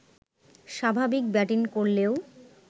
স্বাভাবিক ব্যাটিং করলেও